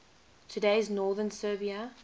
today's northern serbia